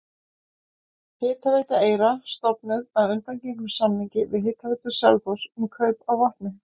Hitaveita Eyra stofnuð að undangengnum samningi við Hitaveitu Selfoss um kaup á vatni.